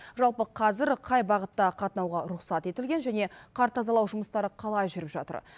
жалпы қазір қай бағытта қатынауға рұқсат етілген және қар тазалау жұмыстары қалай жүріп жатыр